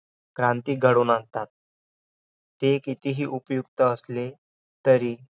क्रांती घडवून आणतात. ते कितीही उपयुक्त असले तरी